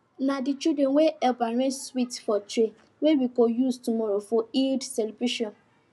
na the children wey help arrange sweets for tray wey we go use tomorrow for eid celebration